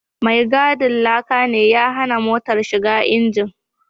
Mai gadin laka ne ya hana motar shiga injin